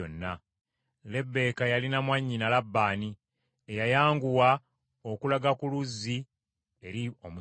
Lebbeeka yalina mwannyina, Labbaani, eyayanguwa okulaga ku luzzi eri omusajja,